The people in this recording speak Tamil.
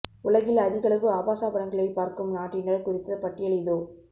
உலகில் அதிகளவு ஆபாச படங்களை பார்க்கும் நாட்டினர் குறித்த பட்டியல் இதோ